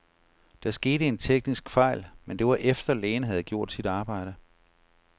Der skete en teknisk fejl, men det var efter, lægen havde gjort sit arbejde.